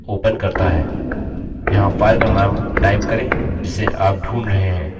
यहाँ file का name type करें जिसे आप ढूंढ रहे हैं